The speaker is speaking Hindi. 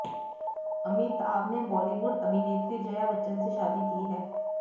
अमिताभ ने बॉलीवुड अभिनेत्री जया बच्चन से शादी की है